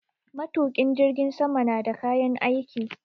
Matukin jirgin sama na da kayan aiki.